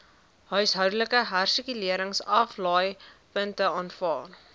huishoudelike hersirkuleringsaflaaipunte aanvaar